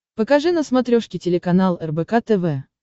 покажи на смотрешке телеканал рбк тв